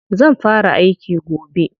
Zan fara aiki gobe.